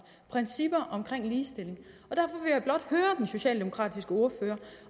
principper omkring ligestilling og den socialdemokratiske ordfører